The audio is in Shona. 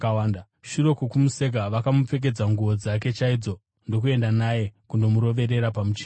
Shure kwokumuseka, vakamupfekedza nguo dzake chaidzo ndokuenda naye kundomuroverera pamuchinjikwa.